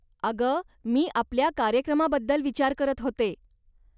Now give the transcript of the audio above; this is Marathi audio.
अगं, मी आपल्या कार्यक्रमाबद्दल विचार करत होते.